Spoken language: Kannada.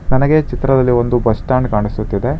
ನನಗೆ ಚಿತ್ರದಲ್ಲಿ ಒಂದು ಬಸ್ ಸ್ಟಾಂಡ್ ಕಾಣಿಸುತ್ತಿದೆ.